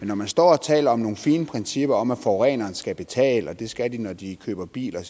når man står og taler om nogle fine principper om at forureneren skal betale og det skal de når de køber bil og